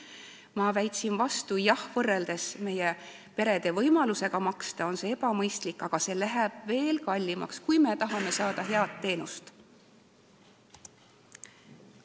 Ma väitsin vastu: jah, võrreldes meie perede võimalusega maksta on see ebamõistlik, aga see hind läheb veel kallimaks, kui me tahame saada head teenust.